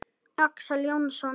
Axel Jónsson: Ha?